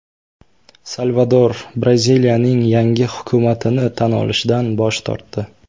Salvador Braziliyaning yangi hukumatini tan olishdan bosh tortdi.